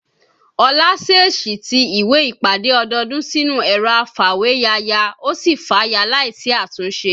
Olá ṣèèṣì ti ìwé ìpàdé ọdọọdún sínú ẹ̀rọ afàwéya ya, ó sì fàya láì sí àtúnṣe